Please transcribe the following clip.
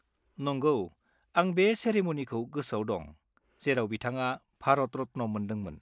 नोंगौ, आं बे सेरेम'निखौ गोसोआव दं, जेराव बिथाङा भारत रत्न मोनदोंमोन।